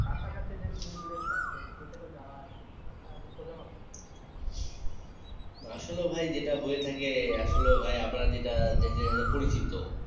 কাছা কাছী যে আছে সেটাতে যাওয়া হয় না সেটা দুঃখজনক আসলেও ভাই যেটা হয়ে থাকে আসলেও ভাই আমরা যেটা পরিচিত